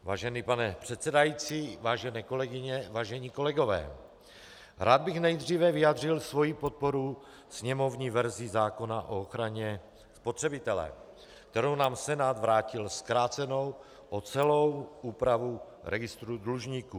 Vážený pane předsedající, vážené kolegyně, vážení kolegové, rád bych nejdříve vyjádřil svoji podporu sněmovní verzi zákona o ochraně spotřebitele, kterou nám Senát vrátil zkrácenou o celou úpravu registru dlužníků.